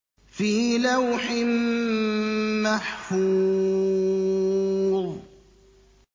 فِي لَوْحٍ مَّحْفُوظٍ